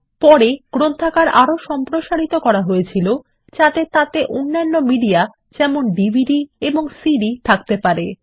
পরে গ্রন্থাগার আরো সম্প্রসারিত করা হয়েছিলো যাতে তাতে অন্যান্য মিডিয়া যেমন ডিভিডি এবং সিডি থাকতে পারে